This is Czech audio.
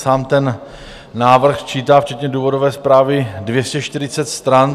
Sám ten návrh čítá včetně důvodové zprávy 240 stran.